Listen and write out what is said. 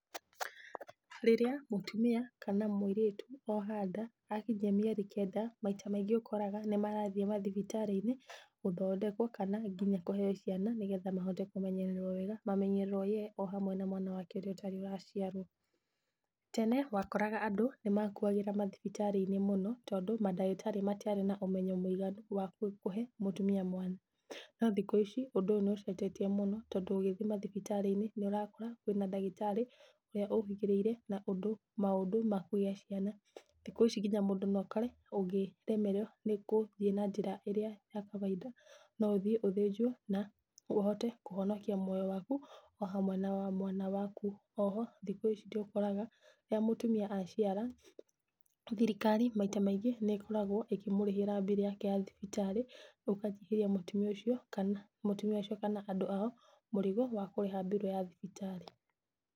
Rĩrĩa mũtumia kana mũirĩtu oha nda, akinyia mĩeri kenda maita maingĩ ũkoraga nĩmarathiĩ mathibitarĩ-inĩ gũthondekwo kana nginya kũheywo ciana nĩgetha mahote kũmenyererwo wega mamenyererwo ye ohamwe na mwana wake ũrĩa ũtarĩ ũraciarwo. Tene wakoraga andũ nĩmakuagĩra mathibitarĩ-inĩ mũno tondũ mandagĩtarĩ matiarĩ na ũmenyo mũiganu wa kũ, kũhe mũtumia mwana. No thikũ ici ũndũ ũyũ nĩũcenjetie mũno tondũ ũgĩthiĩ mathibitarĩ-inĩ nĩũrakora kwĩna ndagĩtarĩ ũrĩa ũhĩgĩrĩire na ũndũ, maũndũ ma kũgia ciana. Thiku ici nginya mũndũ noakore ũngĩremererwo nĩkũthiĩ na njĩra ĩrĩa ya kawaida noũthiĩ ũthĩnjwo na ũhote kũhonokia muoyo waku ohamwe nawa mwana waku. Oho thikũ ici tiũkoraga rĩrĩa mũtumia aciara thirikari maita maingĩ nĩkoragwo ĩkĩmũrĩhĩra bill yake ya thibitarĩ, ũkanyihĩria mũtumia ũcio kana, mũtumia ũcio kana andũ ao mũrigo wa kũrĩha bill ya thibitarĩ.